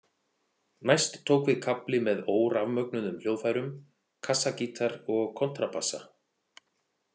Næst tók við kafli með órafmögnuðum hljóðfærum, kassagítar og kontrabassa.